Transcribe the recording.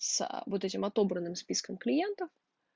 с вот этим отобранным списком клиентов